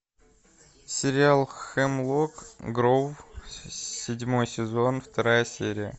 сериал хемлок гроув седьмой сезон вторая серия